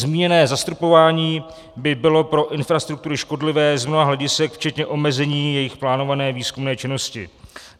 Zmíněné zastropování by bylo pro infrastruktury škodlivé z mnoha hledisek včetně omezení jejich plánované výzkumné činnosti.